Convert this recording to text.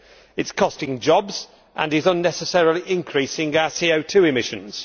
It is costing jobs and is unnecessarily increasing our CO 2 emissions.